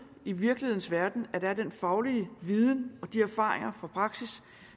i virkelighedens verden at der er den faglige viden og de erfaringer fra praksis